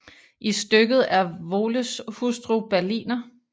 I stykket er Voles hustru Berliner